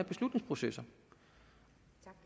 beslutningsprocesser